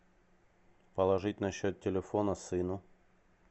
положить на счет телефона сыну